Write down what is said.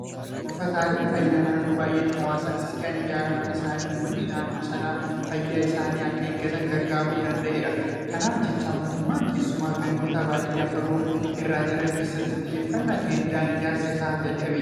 Buufataaleen fayyaa naannoo baay'eetti hawaasatti siqanii ijaaramuun isaanii uummanni naannoo sanaa fayyaa isaanii akka eeggatan gargaaruu danda'eera. Kanaaf jecha mootummaan keessumaa gandoota baadiyyaa fagoo irra jiran keessatti xiyyeeffannaa kennuudhaan ijaarsa isaa jalqabee jira.